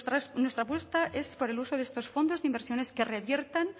nuestra apuesta es por el uso de estos fondos de inversiones que reviertan